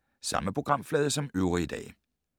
Samme programflade som øvrige dage